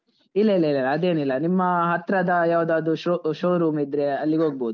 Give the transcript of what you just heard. ಇಲ್ಲ ಇಲ್ಲ ಇಲ್ಲ ಅದೇನಿಲ್ಲ, ನಿಮ್ಮ ಹತ್ರದ ಯಾವುದಾದ್ರು show~ showroom ಇದ್ರೆ ಅಲ್ಲಿಗೋಗ್ಬೋದು.